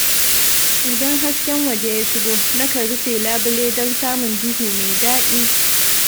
Idan hasken waje ya shigo, na kan rufe labule don samun duhu mai daɗi.